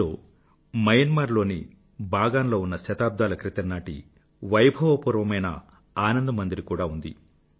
ఇందులో మయన్మార్ లోని బాగాన్ లో ఉన్న శతాబ్దాల క్రితంనాటి వైభవపూర్వమైన ఆనంద్ మందిర్ కూడా ఉంది